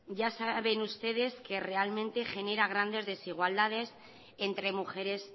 ya saben ustedes que realmente genera grandes desigualdades entre mujeres